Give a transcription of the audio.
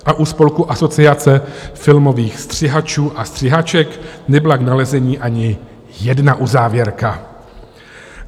U spolku Asociace filmových střihačů a střihaček nebyla k nalezení ani jedna uzávěrka.